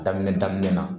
Daminɛ daminɛ na